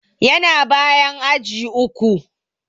Yana bayan aji uku.